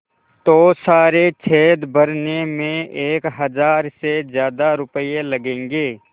तो सारे छेद भरने में एक हज़ार से ज़्यादा रुपये लगेंगे